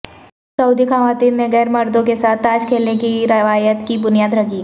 سعودی خواتین نے غیرمردوں کے ساتھ تاش کھیلنے کی روایت کی بنیاد رکھی